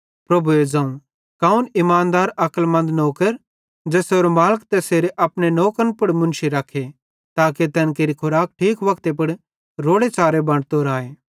प्रभुए ज़ोवं कौने ईमानदार अक्लमन्द नौकर ज़ेसेरो मालिक तैस अपने नौकरन पुड़ मुन्शी रखे ताके तैन केरि खूराक ठीक मौके पुड़ रोड़ेच़ारे बंटतो राए